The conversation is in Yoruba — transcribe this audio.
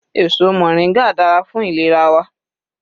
Èso moringa dára fún ìlera wa.